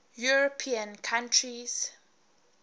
european countries